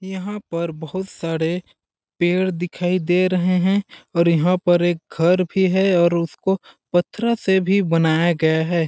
यहाँ पर बहुत सारे पेड़ दिखाई दे रहे हैं और जहाँ पर एक घर भी हैं और उसको पथरों से भी बनाया गया हैं।